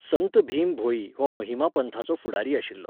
संत भीम भोई हो महिमा पंथाचो फुडारी आशिल्लो.